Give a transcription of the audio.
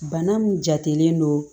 Bana min jatelen don